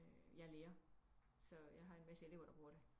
Jeg er lærer så jeg har en masse elever der bruger det